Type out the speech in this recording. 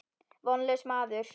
Vonlaus maður.